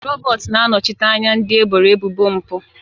Robert na-anọchite anya ndị eboro ebubo mpụ.